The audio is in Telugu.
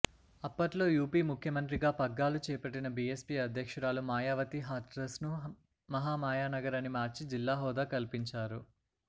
అప్పుట్లో యూపీ ముఖ్యమంత్రిగా పగ్గాలు చేపట్టిన బీఎస్పీ అధ్యక్షురాలు మాయావతి హాత్రస్ను మహామాయానగర్ అని మార్చి జిల్లా హోదా కల్పించారు